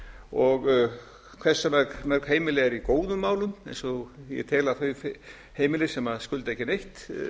og hversu mörg heimili eru í góðum málum eins og ég tel að þau heimili sem skulda ekki neitt